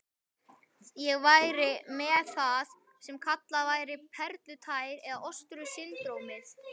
Ég væri með það sem kallað væri perlutær eða ostru-syndrómið